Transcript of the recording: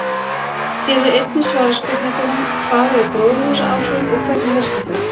Hér er einnig svarað spurningunum: Hvað eru gróðurhúsaáhrif og hvernig virka þau?